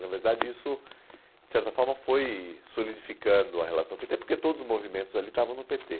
Na verdade, isso, de certa forma, foi solidificando a relação pê tê, porque todos os movimentos ali estavam no pê tê.